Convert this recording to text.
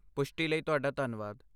ਪੁਸ਼ਟੀ ਲਈ ਤੁਹਾਡਾ ਧੰਨਵਾਦ।